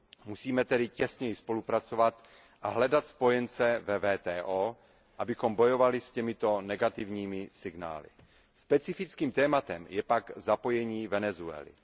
Musíme tedy těsněji spolupracovat a hledat spojence ve WTO, abychom bojovali s těmito negativními signály. Specifickým tématem je pak zapojení Venezuely.